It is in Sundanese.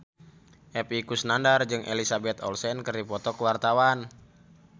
Epy Kusnandar jeung Elizabeth Olsen keur dipoto ku wartawan